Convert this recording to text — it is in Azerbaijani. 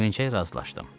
Sevincəklə razılaşdım.